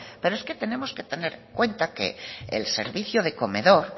pero es que tenemos que tener en cuenta que el servicio de comedor